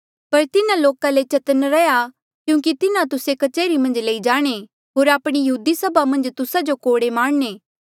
पर तिन्हा लोका ले चतन्न रैहया क्यूंकि तिन्हा तुस्से कच्हरी मन्झ लई जाणे होर आपणी यहूदी सभा मन्झ तुस्सा जो कोड़े मारणे